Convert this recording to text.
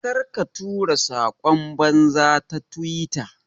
Ƙarka tura sakon banza ta twitter.